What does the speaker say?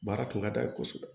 Baara kun ka d'a ye kosɛbɛ